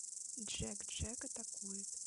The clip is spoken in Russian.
джек джек атакует